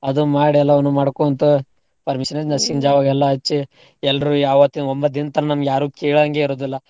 ಅದು ಮಾಡ್ ಎಲ್ಲಾವುನೂ ಮಾಡ್ಕೋಂತ permission ಇಂದ ಎಲ್ಲಾ ಹಚ್ಚಿ. ಎಲ್ರೂ ಯಾವತ್ತಿನ್ ಒಂಬತ್ದಿನ್ ತನ ನಮ್ಗ್ ಯಾರೂ ಕೇಳಂಗೇ ಇರೋದಿಲ್ಲಾ.